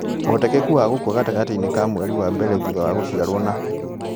Ũhotekeku wa gũkua gatagatĩ inĩ ka mweri wa mbere thutha wa gũciarwo na